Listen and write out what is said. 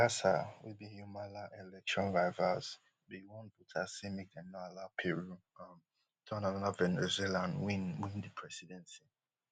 alan garca wey be humala election rivals bin warn voters say make dem no allow peru um turn anoda venezuela and win win di presidency